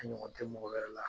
A ɲɔgɔn te mɔgɔ wɛrɛ la